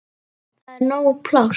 Það er nóg pláss.